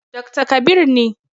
Dakta Kabir ne.